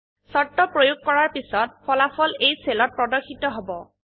শৰ্ত প্ৰয়োগ কৰাৰ পিছত ফলাফল এই সেলত প্ৰদৰ্শিত হব